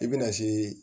I bɛna se